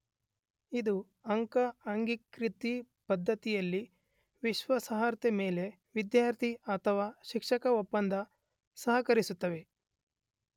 ಇದು ಅಂಕ ಅಂಗೀಕೃತ ಪದ್ಧತಿಯಲ್ಲಿ ವಿಶ್ವಾಸಾರ್ಹತೆ ಮೇಲೆ ವಿದ್ಯಾರ್ಥಿ / ಶಿಕ್ಷಕ ಒಪ್ಪಂದದ ಸಹಕರಿಸುತ್ತವೆ.